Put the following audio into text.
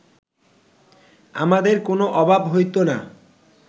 আমাদের কোন অভাব হইত না